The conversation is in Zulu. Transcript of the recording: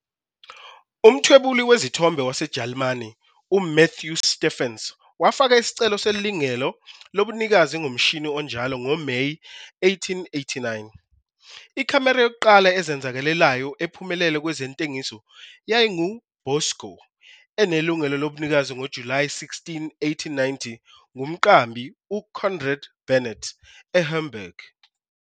Umthwebuli wezithombe waseJalimane uMathew Steffens wafaka isicelo selungelo lobunikazi ngomshini onjalo ngoMeyi 1889. Ikhamera yokuqala ezenzakalelayo ephumelele kwezentengiso yayingu "Bosco", enelungelo lobunikazi ngoJulayi 16, 1890, ngumqambi uConrad Bernitt eHamburg.